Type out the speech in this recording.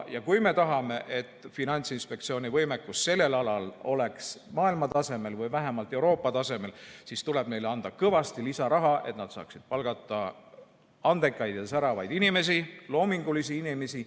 Kui me tahame, et Finantsinspektsiooni võimekus sellel alal oleks maailma tasemel või vähemalt Euroopa tasemel, siis tuleb neile anda kõvasti lisaraha, et nad saaksid palgata andekaid ja säravaid inimesi, loomingulisi inimesi.